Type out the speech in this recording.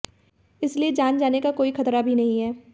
इसलिए जान जाने का कोई खतरा भी नहीं है